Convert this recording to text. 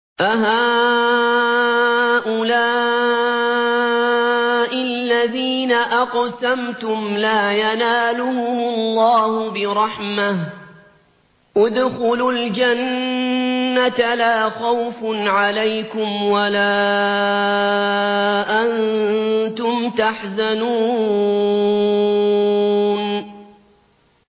أَهَٰؤُلَاءِ الَّذِينَ أَقْسَمْتُمْ لَا يَنَالُهُمُ اللَّهُ بِرَحْمَةٍ ۚ ادْخُلُوا الْجَنَّةَ لَا خَوْفٌ عَلَيْكُمْ وَلَا أَنتُمْ تَحْزَنُونَ